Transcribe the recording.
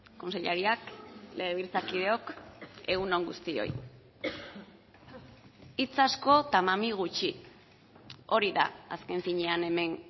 kontseilariak legebiltzarkideok egun on guztioi hitz asko eta mami gutxi hori da azken finean hemen